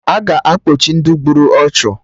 A ga-akpochi Ndị gburu ọchụ